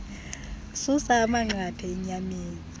susa amanqathe enyameni